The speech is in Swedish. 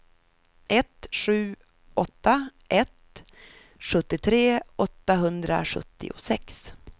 ett sju åtta ett sjuttiotre åttahundrasjuttiosex